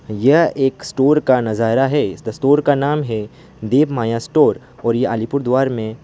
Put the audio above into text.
यह एक स्टोर का नजारा है स्टोर का नाम है दीप माया स्टोर और अलीपुरद्वार में--